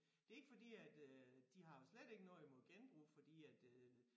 Det ikke fordi at øh de har jo slet ikke noget imod genbrug fordi at øh